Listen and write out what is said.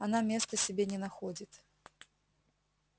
она места себе не находит